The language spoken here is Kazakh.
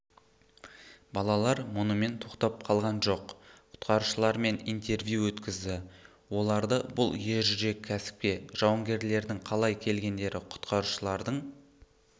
балалар мұнымен тоқтап қалған жоқ құтқарушылармен интервью өткізді оларды бұл ержүрек кәсіпке жауынгерлердің қалай келгендері құтқарушылардың